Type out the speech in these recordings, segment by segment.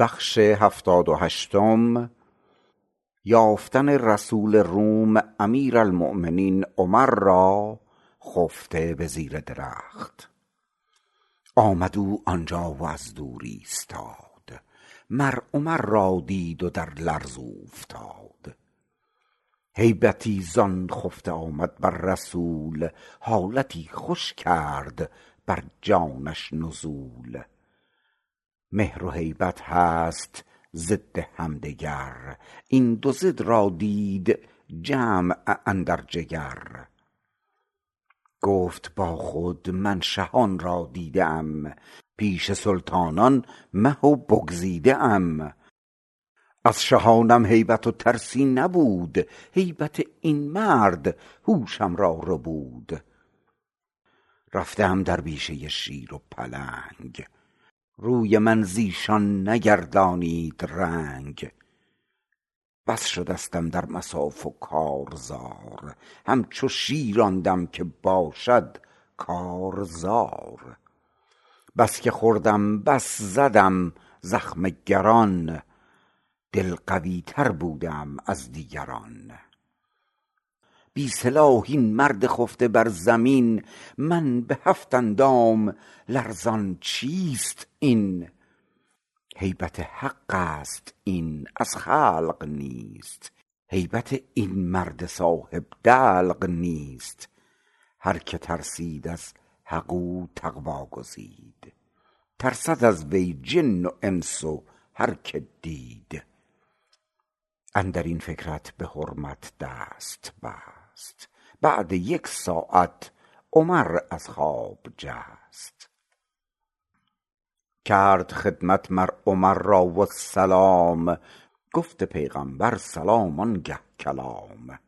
آمد او آنجا و از دور ایستاد مر عمر را دید و در لرز اوفتاد هیبتی زان خفته آمد بر رسول حالتی خوش کرد بر جانش نزول مهر و هیبت هست ضد همدگر این دو ضد را دید جمع اندر جگر گفت با خود من شهان را دیده ام پیش سلطانان مه و بگزیده ام از شهانم هیبت و ترسی نبود هیبت این مرد هوشم را ربود رفته ام در بیشه شیر و پلنگ روی من زیشان نگردانید رنگ بس شدستم در مصاف و کارزار همچو شیر آن دم که باشد کارزار بس که خوردم بس زدم زخم گران دل قوی تر بوده ام از دیگران بی سلاح این مرد خفته بر زمین من به هفت اندام لرزان چیست این هیبت حقست این از خلق نیست هیبت این مرد صاحب دلق نیست هر که ترسید از حق او تقوی گزید ترسد از وی جن و انس و هر که دید اندرین فکرت به حرمت دست بست بعد یک ساعت عمر از خواب جست کرد خدمت مر عمر را و سلام گفت پیغامبر سلام آنگه کلام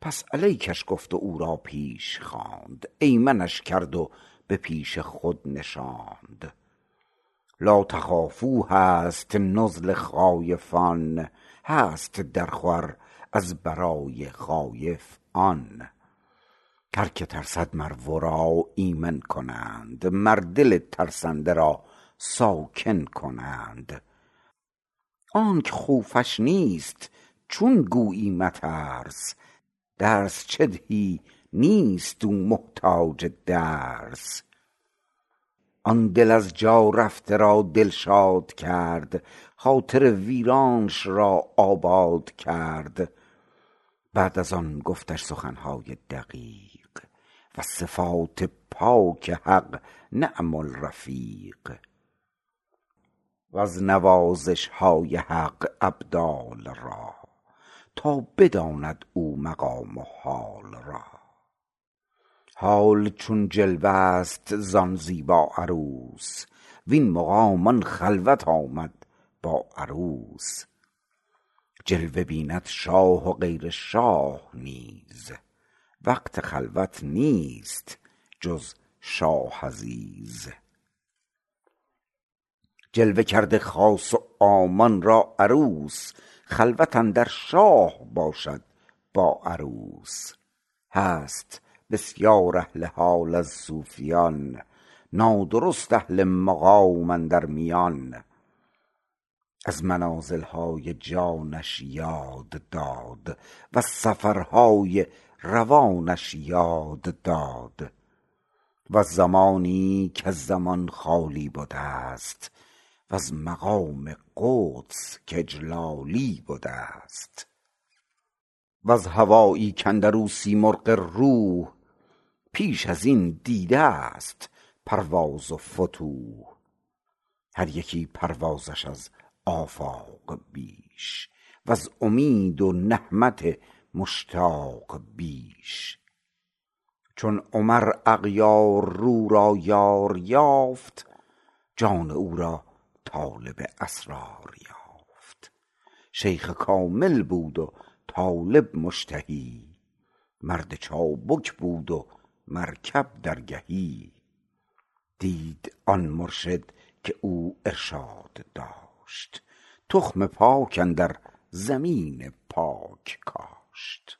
پس علیکش گفت و او را پیش خواند ایمنش کرد و به پیش خود نشاند لاتخافوا هست نزل خایفان هست در خور از برای خایف آن هر که ترسد مر ورا ایمن کنند مر دل ترسنده را ساکن کنند آنک خوفش نیست چون گویی مترس درس چه دهی نیست او محتاج درس آن دل از جا رفته را دلشاد کرد خاطر ویرانش را آباد کرد بعد از آن گفتش سخنهای دقیق وز صفات پاک حق نعم الرفیق وز نوازشهای حق ابدال را تا بداند او مقام و حال را حال چون جلوه ست زان زیبا عروس وین مقام آن خلوت آمد با عروس جلوه بیند شاه و غیر شاه نیز وقت خلوت نیست جز شاه عزیز جلوه کرده خاص و عامان را عروس خلوت اندر شاه باشد با عروس هست بسیار اهل حال از صوفیان نادرست اهل مقام اندر میان از منازلهای جانش یاد داد وز سفرهای روانش یاد داد وز زمانی کز زمان خالی بدست وز مقام قدس که اجلالی بدست وز هوایی کاندرو سیمرغ روح پیش ازین دیدست پرواز و فتوح هر یکی پروازش از آفاق بیش وز امید و نهمت مشتاق بیش چون عمر اغیاررو را یار یافت جان او را طالب اسرار یافت شیخ کامل بود و طالب مشتهی مرد چابک بود و مرکب درگهی دید آن مرشد که او ارشاد داشت تخم پاک اندر زمین پاک کاشت